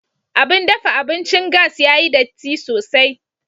Abin dafa abincin gas ya yi datti sosai.